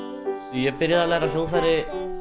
ég byrjaði að læra á hljóðfæri